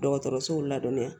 Dɔgɔtɔrɔsow ladɔnniya